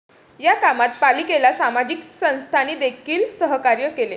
या कामात पालिकेला सामाजिक संस्थांनीदेखील सहकार्य केले.